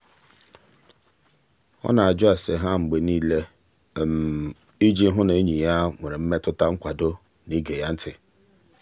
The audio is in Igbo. ọ na-ajụ ase ha mgbe niile iji hụ na enyi ya nwere mmetụta nkwado na ige ya ntị.